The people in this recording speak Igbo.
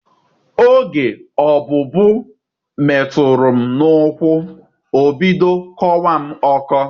Oge ọbụbụụ metụrụ m n'ụkwụ, o bido kọwa m ọkọ.